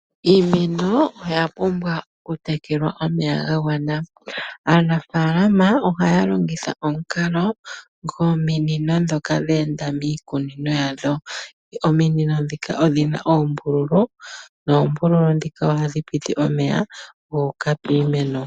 Iimeno oya pumbwa okutekelwa omeya ga gwana. Aanafalama ohaya longitha omukalo gwominino ndhoka dheenda miikunino yawo. Ominino ndhika odhina oombululu ndhika hadhi piti omeya gu uka piimeno.